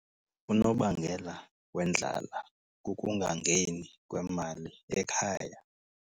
Unobangela wendlala kukungangeni kwemali ekhaya.